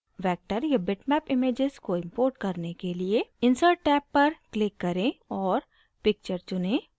vector या bitmap images को import करने के लिए insert टैब पर click करें और picture चुनें